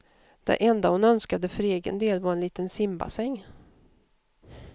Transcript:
Det enda hon önskade för egen del var en liten simbassäng.